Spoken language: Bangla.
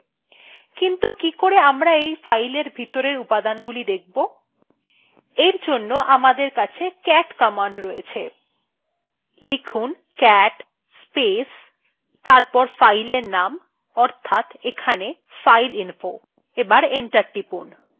কিন্তু কিকরে আমরা এই file ভিতরের উপাদান গুলো দেখব এর জন্য আমাদের কাছে cat command রয়েছে লিখুন cat space তারপর file এর name অর্থাৎ এখানে fileinfo